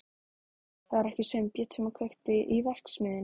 Það var ekki Sveinbjörn sem kveikti í verksmiðjunni.